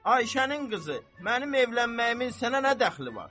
Ayşənin qızı, mənim evlənməyimin sənə nə dəxli var?